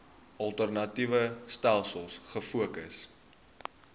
alternatiewe stelsels gefokus